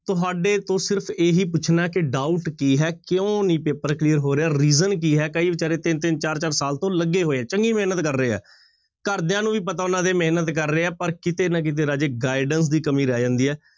ਤੁਹਾਡੇ ਤੋਂ ਸਿਰਫ਼ ਇਹੀ ਪੁੱਛਣਾ ਕਿ doubt ਕੀ ਹੈ, ਕਿਉਂ ਨੀ ਪੇਪਰ clear ਹੋ ਰਿਹਾ reason ਕੀ ਹੈ ਕਈ ਬੇਚਾਰੇ ਤਿੰਨ ਤਿੰਨ, ਚਾਰ ਚਾਰ ਸਾਲ ਤੋਂ ਲੱਗੇ ਹੋਏ ਆ, ਚੰਗੀ ਮਿਹਨਤ ਕਰ ਰਹੇ ਹੈ, ਘਰਦਿਆਂ ਨੂੰ ਵੀ ਪਤਾ ਉਹਨਾਂ ਦੇ ਮਿਹਨਤ ਕਰ ਰਹੇ ਹੈ, ਪਰ ਕਿਤੇ ਨਾ ਕਿਤੇ ਰਾਜੇ guidance ਦੀ ਕਮੀ ਰਹਿ ਜਾਂਦੀ ਹੈ।